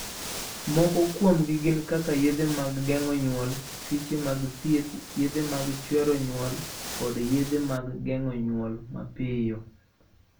Moko kuomgi gin kaka yedhe mag geng'o nyuol, piche mag thieth, yedhe mag chwero nyuol, kod yedhe mag geng'o nyuol mapiyo.